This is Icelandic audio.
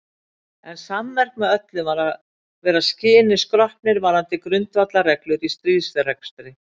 En sammerkt með öllum var að vera skyni skroppnir varðandi grundvallarreglur í stríðsrekstri.